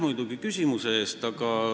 Aitäh küsimuse eest!